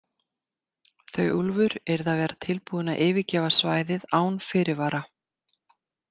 Þau Úlfur yrðu að vera tilbúin að yfirgefa svæðið án fyrirvara.